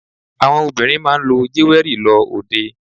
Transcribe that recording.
Àwọn obìnrin máa ń lo jéwẹ́rì lọ òde.